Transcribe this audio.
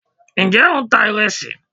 njẹ o n ta iresí